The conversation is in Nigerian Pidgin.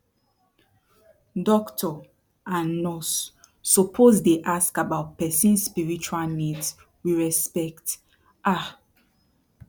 doctor and nurse suppose dey ask about person spiritual needs with respect ah